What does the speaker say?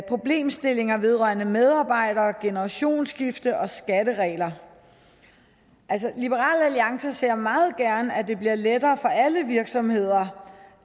problemstillinger vedrørende medarbejdere generationsskifte og skatteregler altså liberal alliances ser meget gerne at det bliver lettere for alle virksomheder